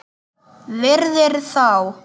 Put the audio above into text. Virðir þá.